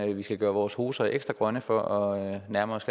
vi skal gøre vores poser ekstra grønne for at nærme os